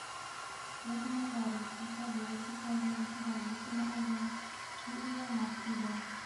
рядом нотариусы ажойчик ав горошина ов и иванов иб